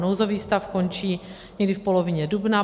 Nouzový stav končí někdy v polovině dubna.